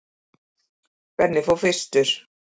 Benni fór fyrstur.